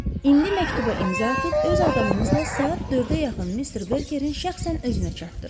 İndi məktuba imza atıb öz adamınızla saat 4-ə yaxın Mister Berkerin şəxsən özünə çatdırın.